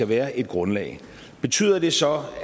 være et grundlag betyder det så